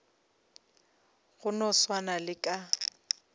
go no swana le ka